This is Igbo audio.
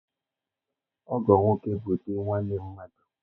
Ọgọ nwoke bụ di nwanne mmadụ.